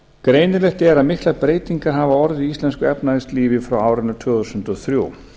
greinilegt er að miklar breytingar hafa orðið í íslensku efnahagslífi frá árinu tvö þúsund og þrjú